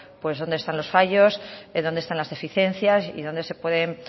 dónde están los fallos dónde están las deficiencias y dónde se pueden